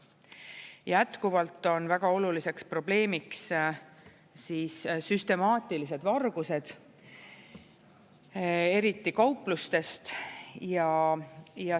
Jätkuvalt on väga oluliseks probleemiks süstemaatilised vargused, eriti kauplustest.